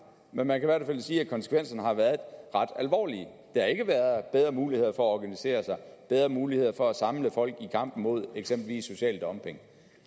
men man i hvert fald sige at konsekvenserne har været ret alvorlige det har ikke været bedre muligheder for at organisere sig bedre muligheder for at samle folk i kampen mod eksempelvis social dumping